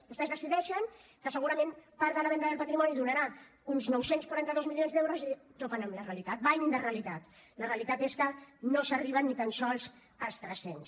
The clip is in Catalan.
vostès decideixen que segurament part de la venda del patrimoni donarà uns nou cents i quaranta dos milions d’euros i topen amb la realitat bany de realitat la realitat és que no s’arriba ni tan sols als tres cents